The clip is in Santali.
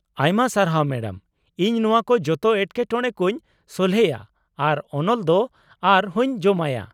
ᱟᱭᱢᱟ ᱥᱟᱨᱦᱟᱣ ᱢᱮᱰᱟᱢ, ᱤᱧ ᱱᱚᱶᱟ ᱠᱚ ᱡᱚᱛᱚ ᱮᱴᱠᱮᱴᱚᱬᱮ ᱠᱚᱧ ᱥᱚᱞᱦᱮᱭᱟ ᱟᱨ ᱚᱱᱚᱞ ᱫᱚ ᱟᱨ ᱦᱚᱸᱧ ᱡᱚᱢᱟᱭᱟ ᱾